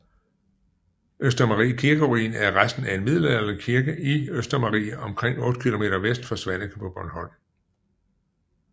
Østermarie kirkeruin er resten af en middelalderlig kirke i Østermarie omkring 8 km vest for Svaneke på Bornholm